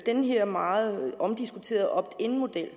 den her meget omdiskuterede opt in model at